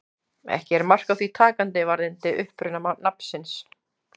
Ekki er mark á því takandi varðandi uppruna nafnsins.